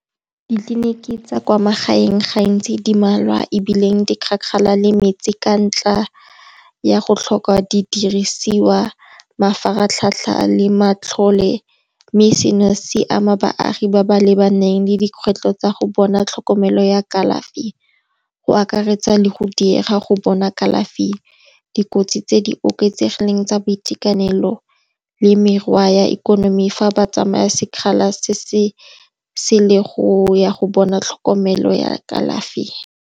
Ditleliniki tsa kwa magaeng gantsi di mmalwa ebile di kgakala le metse ka ntlha ya go tlhoka didirisiwa, mafaratlhatlha le matlhole. Mme se no se ama baagi ba ba lebaneng le dikgwetlho tsa go bona tlhokomelo ya kalafi. Go akaretsa le go diega go bona kalafi, dikotsi tse di oketsegileng tsa boitekanelo le merwa ya ikonomi fa ba tsamaya sekgala se se sele go ya go bona tlhokomelo ya kalafi.